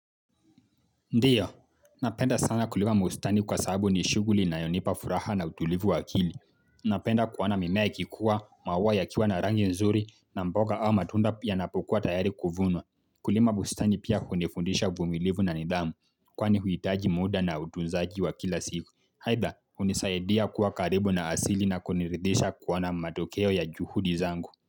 Ndio, napenda sana kulima bustani kwa sababu ni shughuli inayonipa furaha na utulivu wa akili. Napenda kuona mimea kikua, maua yakiwa na rangi nzuri na mboga au matunda pia yanapokuwa tayari kuvunwa. Kulima bustani pia hunifundisha uvumilivu na nidhamu, kwani huhitaji muda na utunzaji wa kila siku. Aidha, hunisadia kuwa karibu na asili na kuniridhisha kuona matokeo ya juhudi zangu.